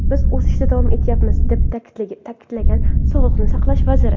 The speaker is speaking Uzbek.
Biz o‘sishda davom etyapmiz”, deb ta’kidlagan sog‘liqni saqlash vaziri.